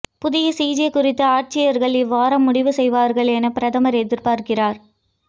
புதிய சிஜே குறித்து ஆட்சியாளர்கள் இவ்வாரம் முடிவு செய்வார்கள் எனப் பிரதமர் எதிர்பார்க்கிறார்